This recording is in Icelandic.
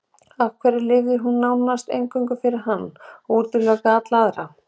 Af hverju lifði hún nánast eingöngu fyrir hann og útilokaði alla aðra?